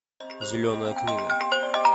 зеленая книга